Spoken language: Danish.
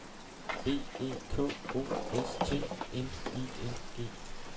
B E K O S T N I N G